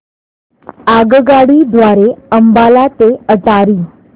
आगगाडी द्वारे अंबाला ते अटारी